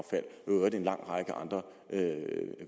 i øvrigt en lang række andre